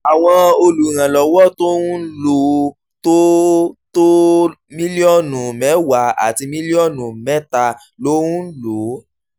àwọn olùrànlọ́wọ́ tó ń lò ó tó ó tó mílíọ̀nù mẹ́wàá àti mílíọ̀nù mẹ́ta ló ń lò ó